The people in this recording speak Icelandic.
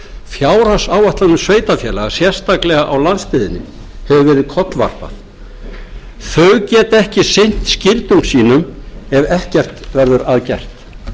fjárhagsáætlunum sveitarfélaga sérstaklega á landsbyggðinni hefur verið kollvarpað þau geta ekki sinnt skyldum sínum ef ekkert verður að gert